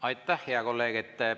Aitäh, hea kolleeg!